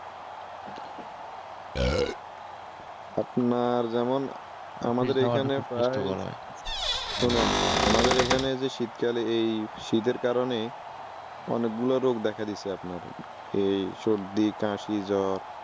আপনার যেমন আমাদের এখানে প্রায় শোনেন, আমাদের এখানে যে শীতকালে এই শীতের কারণে অনেকগুলা রোগ দেখা দিস আপনার । এই সর্দি, কাশি, জ্বর